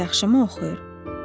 Qız yaxşımı oxuyur?